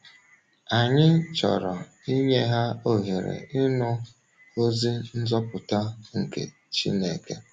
Anyị chọrọ inye ha ohere ịnụ ozi nzọpụta nke Chị́nẹ̀ke.